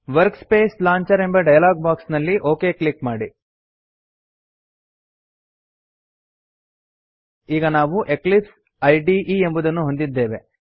workspace launcher ಎಂಬ dialogue box ನಲ್ಲಿ okay click ಮಾಡಿ ಈಗ ನಾವು ಎಕ್ಲಿಪ್ಸ್ ಇದೆ ಎಂಬುದನ್ನು ಹೊಂದಿದ್ದೇವೆ